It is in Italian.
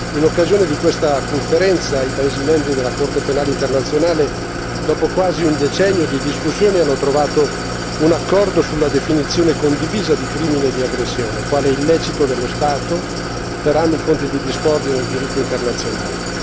In occasione di questa conferenza, i paesi membri della Corte penale internazionale, dopo quasi un decennio di discussioni, hanno trovato un accordo sulla definizione condivisa di crimine di aggressione quale illecito dello Stato, per anni fonte di discordia nel diritto internazionale.